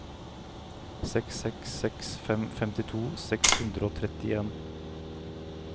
seks seks seks fem femtito seks hundre og trettien